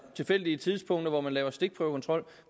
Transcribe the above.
tilfældige tidspunkter hvor man laver stikprøvekontrol